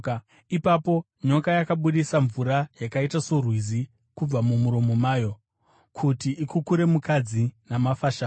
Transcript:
Ipapo nyoka yakabudisa mvura yakaita sorwizi kubva mumuromo mayo, kuti ikukure mukadzi namafashamu.